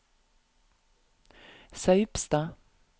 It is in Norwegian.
Saupstad